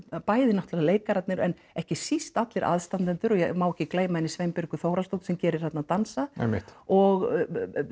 bæði náttúrulega leikararnir en ekki síst allir aðstandendur og ég má ekki gleyma henni Sveinbjörgu Þórhallsdóttur sem gerir þarna dansa og